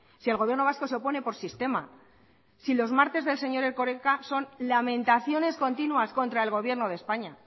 si el gobierno vasco se opone por sistema si los martes del señor erkoreka son lamentaciones continúas contra el gobierno de españa